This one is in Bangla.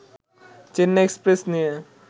চেন্নাই এক্সপ্রেস' নিয়ে